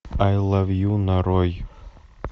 ай лав ю нарой